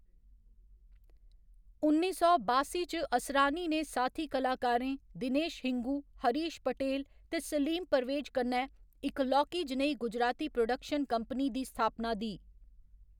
उन्नी सौ बासी च असरानी ने साथी कलाकारें दिनेश हिंगू, हरीश पटेल ते सलीम परवेज कन्नै इक लौह्‌‌‌की जनेही गुजराती प्रोडक्शन कंपनी दी स्थापना दी।